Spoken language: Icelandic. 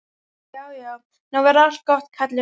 Já, já, nú verður allt gott, Kalli minn.